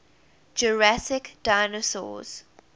jurassic dinosaurs